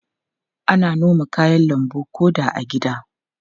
Ana noma kayan lambu ko da a gida.